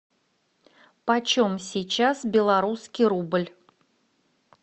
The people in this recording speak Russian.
почем сейчас белорусский рубль